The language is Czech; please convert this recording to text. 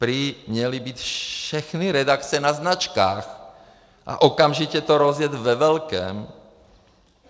Prý měly být všechny redakce na značkách a okamžitě to rozjet ve velkém.